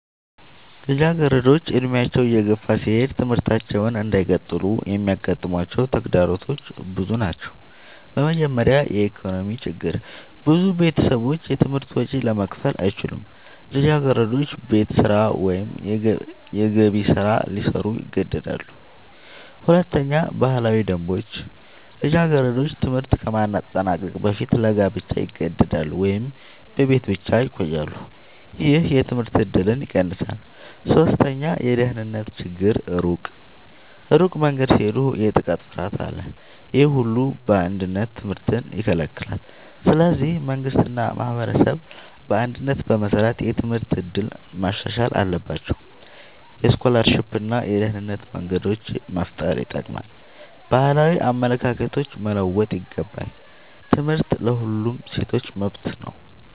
ልጃገረዶች ዕድሜያቸው እየገፋ ሲሄድ ትምህርታቸውን እንዳይቀጥሉ የሚያጋጥሟቸው ተግዳሮቶች ብዙ ናቸው። በመጀመሪያ የኢኮኖሚ ችግር ብዙ ቤተሰቦች የትምህርት ወጪ ለመክፈል አይችሉም። ልጃገረዶች ቤት ስራ ወይም የገቢ ስራ ሊሰሩ ይገደዳሉ። ሁለተኛ ባህላዊ ደንቦች ልጃገረዶች ትምህርት ከማጠናቀቅ በፊት ለጋብቻ ይገደዳሉ ወይም በቤት ብቻ ይቆያሉ። ይህ የትምህርት እድልን ይቀንሳል። ሶስተኛ የደህንነት ችግር ሩቅ መንገድ ሲሄዱ የጥቃት ፍርሃት አለ። ይህ ሁሉ በአንድነት ትምህርትን ይከለክላል። ስለዚህ መንግሥት እና ማህበረሰብ በአንድነት በመስራት የትምህርት እድል ማሻሻል አለባቸው። የስኮላርሺፕ እና የደህንነት መንገዶች መፍጠር ይጠቅማል። ባህላዊ አመለካከቶች መለወጥ ይገባል። ትምህርት ለሁሉም ሴቶች መብት ነው።